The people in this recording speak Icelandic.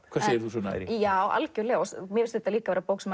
hvað segir þú Sunna já mér finnst þetta líka vera bók sem